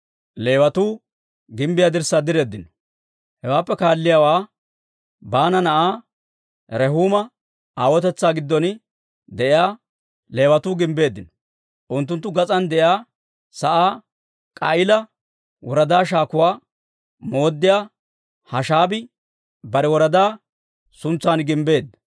Hewaappe kaalliyaawaa Baana na'aa Rehuuma aawotetsaa giddon de'iyaa, Leewatuu gimbbeeddino. Unttunttu gas'aan de'iyaa sa'aa K'a'iila woradaa shaakuwaa mooddiyaa Hashaabii bare woradaa suntsan gimbbeedda.